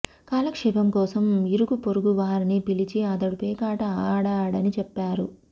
కాలక్షేపం కోసం ఇరుగు పొరుగు వారిని పిలిచి అతడు పేకాట ఆడాడని చెప్పారు